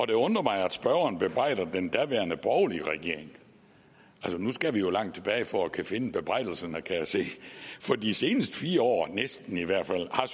det undrer mig at spørgeren bebrejder den daværende borgerlige regering for nu skal vi jo langt tilbage for at finde bebrejdelserne kan jeg se for de seneste fire år næsten i hvert fald har